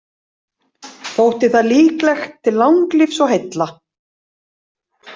Þótti það líklegt til langlífis og heilla.